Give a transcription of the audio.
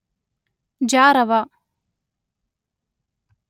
ಜಾರವ